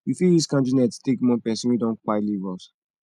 we fit use candle night take mourn person wey don kpai leave us